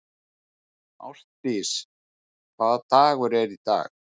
Ástdís, hvaða dagur er í dag?